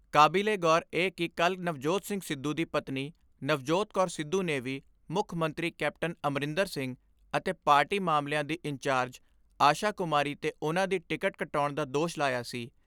ਕਾਬਿਲੇਗੌਰ ਏ ਕਿ ਕੱਲ੍ਹ ਨਵਜੋਤ ਸਿੰਘ ਸਿੱਧੂ ਦੀ ਪਤਨੀ ਨਵਜੋਤ ਕੌਰ ਸਿੱਧੂ ਨੇ ਵੀ ਮੁੱਖ ਮੰਤਰੀ ਕੈਪਟਨ ਅਮਰਿੰਦਰ ਸਿੰਘ ਅਤੇ ਪਾਰਟੀ ਮਾਮਲਿਆਂ ਦੀ ਇੰਨਚਾਰਜ ਆਸ਼ਾ ਕੁਮਾਰੀ ਤੇ ਉਨ੍ਹਾਂ ਦੀ ਟਿਕਟ ਕਟਾਉਣ ਦਾ ਦੋਸ਼ ਲਾਇਆ ਸੀ।